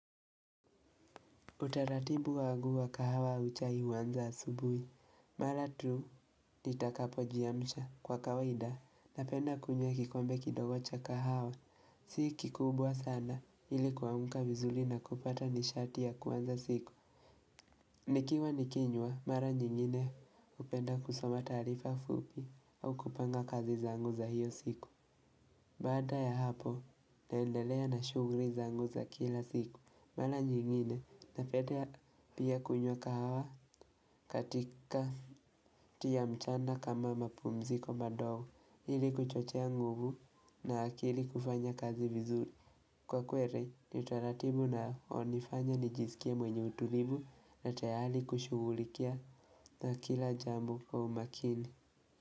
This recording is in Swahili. Utaratibu wangu wa kahawa uchai huanza asubuhi. Mara tu nitakapojiamsha kwa kawaida napenda kunywa kikombe kidogo cha kahawa. Si kikubwa sana ili kuamka vizuri na kupata nishatia kuanza siku. Nikiwa nikinywa mara nyingine hupenda kusoma taarifa fupi au kupanga kazi zangu za hiyo siku. Baada ya hapo naendelea na shughuli zangu za kila siku. Mara nyingine napedea pia kunywa kahawa katikati ya mchana kama mapumziko madogo illi kuchochea nguvu na akili kufanya kazi vizuri. Kwa kweli ni taratibu na hunifanya nijisikia mwenye utulivu na tayari kushughulikia na kila jambo kwa umakini.